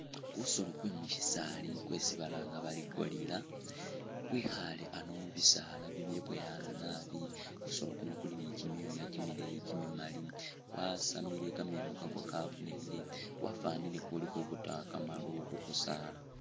Kusoolo kwe musyisaali kwesi balanga bari gorilla kwekhaale ano mu bisaala bibyaboyaana naabi, kusoolo kuno kuli ni kimyooya kimileeyi kimimaali kwasamile kameeno kakwo kabonekhile, kwafwanile kuli khubuuta kamaru khu kusaala.